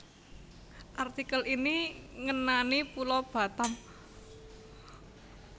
Artikel ini ngenani Pulo Batam